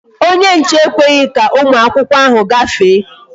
Onye nche ekweghị ka ụmụ akwụkwọ ahụ gafee